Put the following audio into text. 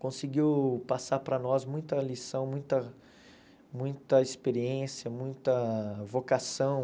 Conseguiu passar para nós muita lição, muita muita experiência, muita vocação.